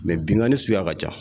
Mɛ binkani suguya ka ca